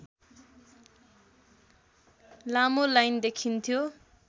लामो लाइन देखिन्थ्यो